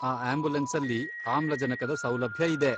ಈ ಆಂಬ್ಯುಲೆನ್ಸಲ್ಲಿ ಆಮ್ಲಜನಕದ ಸೌಲಭ್ಯ ಇದೆ.